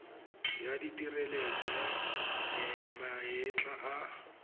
ya tshireletso ya maetla a